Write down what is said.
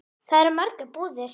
Þar eru margar búðir.